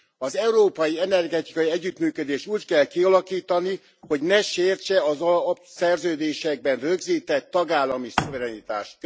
Az európai energetikai együttműködést úgy kell kialakítani, hogy ne sértse az alapszerződésekben rögzített tagállami szuverenitást.